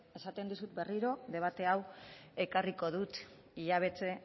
esaten dizut berriro debate hau ekarriko dut hilabete